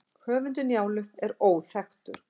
höfundur njálu er óþekktur